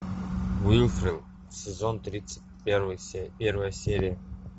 уилфред сезон тридцать первая серия